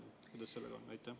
Kuidas sellega on?